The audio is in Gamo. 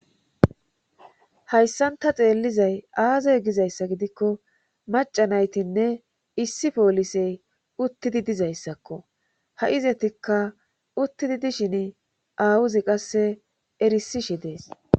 Hayssan ta xeellizay aazoy gizayssa gidikko macanaytinne issi poolisey uttidi dizayssakko ha'izetikka uttidi dishin aawuzi qasse erisishe dees.